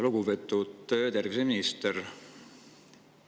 Lugupeetud terviseminister!